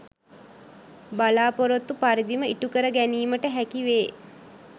බලාපොරොත්තු පරිදිම ඉටු කර ගැනීමට හැකි වේ.